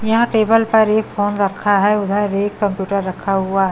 यहां टेबल पर एक फोन रखा है उधर एक कंप्यूटर रखा हुआ--